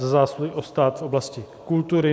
Za zásluhy o stát v oblasti kultury.